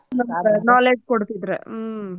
ಕೊಡ್ತಿದ್ರ ಹ್ಮ್.